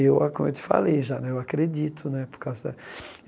Eu, como eu te falei já, eu acredito né. Por causa da